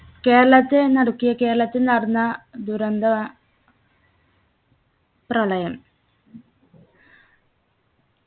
കേരളത്തെ നടുക്കിയ കേരളത്തിൽ നടന്ന ദുരന്തവ പ്രളയം